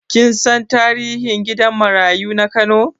Kin san tarihin gidan marayu na Kano?